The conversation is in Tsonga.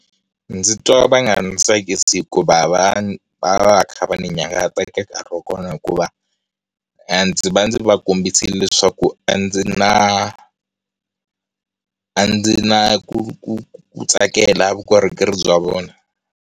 Ndzi twa va nga ndzi tsakisi hikuva va va va va kha va ni nyangatsa eka nkarhi wa kona hikuva, ndzi va ndzi va kombisile leswaku a ndzi na a ndzi na ku ku ku tsakela vukorhokeri bya vona.